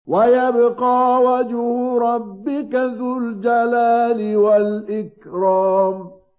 وَيَبْقَىٰ وَجْهُ رَبِّكَ ذُو الْجَلَالِ وَالْإِكْرَامِ